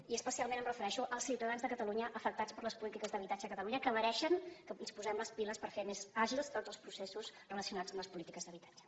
i especialment em refereixo als ciutadans de catalunya afectats per les polítiques d’habitatge a catalunya que mereixen que ens posem les piles per fer més àgils tots els processos relacionats amb les polítiques d’habitatge